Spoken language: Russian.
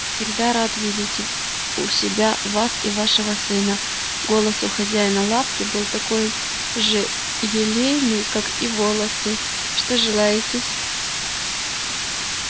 всегда рад видеть у себя вас и вашего сына голос у хозяина лавки был такой же лелейный как и волосы что желаете-с